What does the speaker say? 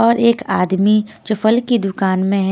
और एक आदमी जो फल की दुकान में है।